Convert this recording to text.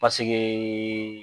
Paseke